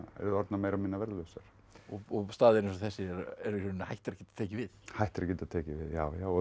orðnar meira og minna verðlausar staðir eins og þessir eru hættir að geta tekið við hættir að geta tekið við já já og